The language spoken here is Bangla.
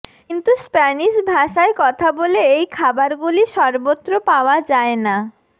কিন্তু স্প্যানিশ ভাষায় কথা বলে এই খাবারগুলি সর্বত্র পাওয়া যায় না